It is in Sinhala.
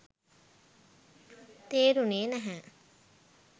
තේරුනේ නැහැ